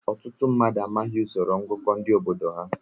Ọtụtụ mmadụ amaghị usoro ngụkọ ndị obodo ha.